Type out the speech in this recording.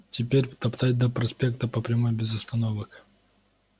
теперь топтать до проспекта по прямой без остановок